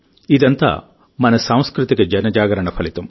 ఇదంతా మన సాంస్కృతిక జనజాగరణ ఫలితం